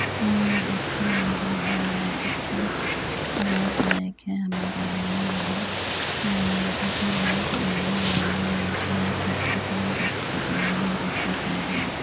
उम अच्छा ही है आ अच्छे लाभदायक है हमारे लिए यहां उम अभी लोग नहीं आए हैं या शायद थक के थोड़ा रेस्ट कर रहे हैं दुसरी साइड में।